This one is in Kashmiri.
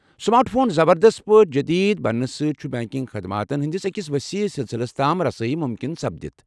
سمارٹ فون زبردست پٲٹھۍ جدید بننہٕ سٕتۍ ، چُھ بنٛکنٛگ خدماتن ہٕنٛدس أکس ؤسیٖع سِلسلس تام رسٲیی مُمكِن سپدِتھ۔